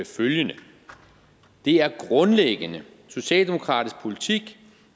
følgende det er grundlæggende socialdemokratisk politik